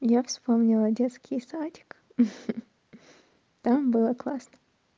я вспомнила детский садик ха там было классно